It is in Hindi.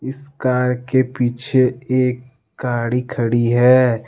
इस कार के पीछे एक गाड़ी खड़ी है।